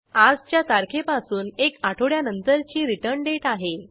आजच्या तारखेपासून एक आठवड्यानंतरची रिटर्न डेट आहे